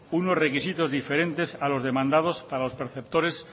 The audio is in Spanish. unos requisitos diferentes a los demandados para los preceptores